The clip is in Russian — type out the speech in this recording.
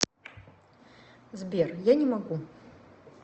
сбер я не могу